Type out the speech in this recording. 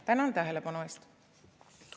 Tänan tähelepanu eest!